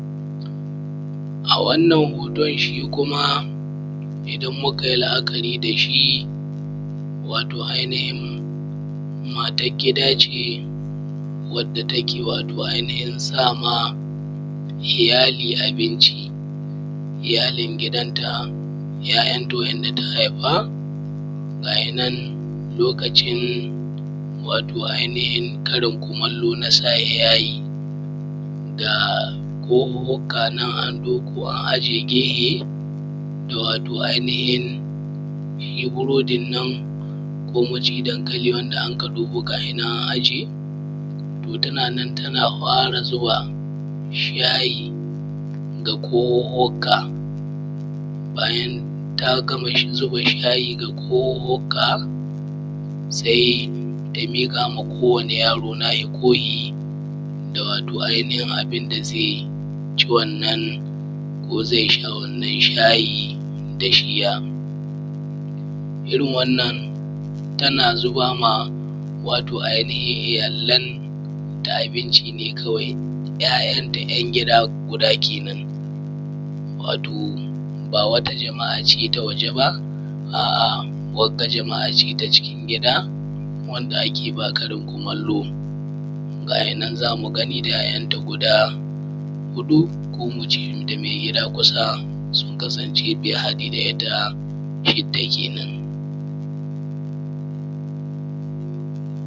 A wannan hoton shi kuma idan Mukai la’akari dashi wato ai nihin matan gida ce wadda take wato ai nihin sama iyyali abinci iaylin gidanta ‘ya’’yan’ta wa ‘yan’da ta Haifa ga yinan lokacin wato ai nihin Karin kumallo na safe yayi. Ga kohuhhuka nan an ɗebo an aje gehe wato ai nihin shi buridin nan ko muce dankali wanda aka ɗebo ga shinan an aje to tana nan tana zuba shayi a cikin kohuhhuka bayan taga burodi nan an aje gehe bayan ta gama zuba shayi ga kohuhhuka sai ta miƙama ko wani yaro nahi kohi da wato ai nihin abinda zaici wannan ko zai sha wannan shayi dashiya. Irrin wannan tana zubama wato ai nihin iyyalan ta abinci kawai ‘ya’’yan’ta ‘yan’ gida guda kenan. wato ba wata jama’ace ta waje ba, a’a wagga jama’ace ta cikin gida wadda akeba Karin kumallo gayinan zamu gani da ‘ya’’yan’ ta guda huɗu ko muce inda mai gida kusa sun haɗe in harda itta shidda kenan’